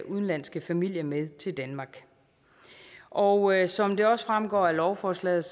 udenlandske familie med til danmark og som det også fremgår af lovforslaget